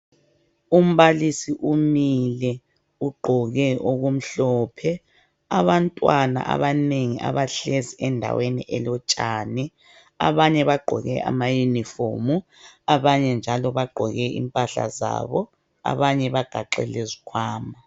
Umbalisi umile ,ugqoke okumhlophe. Abantwana abanengi abahlezi endaweni elotshani ,abanye bagqoke amayinifomu .Abanye njalo bagqoke impahla zabo ,abanye bagaxe izikhwama.